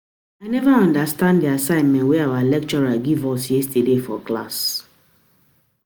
I never understand the assignment wey our lecturer give us yesterday for class